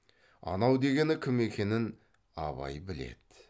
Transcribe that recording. анау дегені кім екенін абай біледі